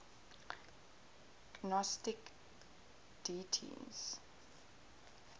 gnostic deities